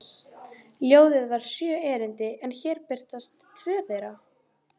Ljóðið var sjö erindi en hér birtast tvö þeirra: